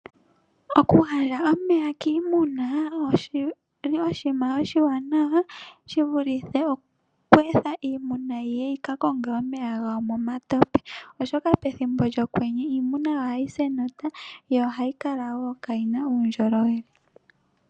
Okugandja omeya kiimuna oshili oshinima oshiwanawa, shi vulithe oku etha iimuna yiye yi ka konge omeya gawo mo matope. Oshoka pethimbo lyokwenye iimuna ohayi si enota, yo ohayi kala wo kaayina uundjolowele.